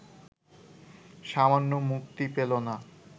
সামান্যও মুক্তি পেল না